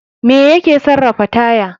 Me ya ke sarafa taya?